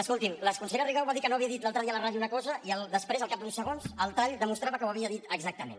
escoltin la consellera rigau va dir que no havia dit l’altre dia a la ràdio una cosa i després al cap d’uns segons el tall demostrava que ho havia dit exactament